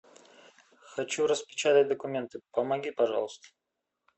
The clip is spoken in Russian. хочу распечатать документы помоги пожалуйста